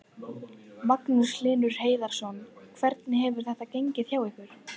Magnús Hlynur Hreiðarsson: Hvernig hefur þetta gengið hjá ykkur?